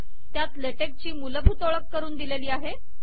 त्यात LaTeX ची मूलभूत ओळख करून दिलेली आहे